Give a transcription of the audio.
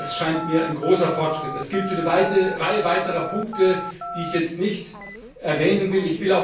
Das scheint mir ein großer Fortschritt zu sein. Das gilt für eine Reihe weiterer Punkte, die ich jetzt nicht erwähnen will.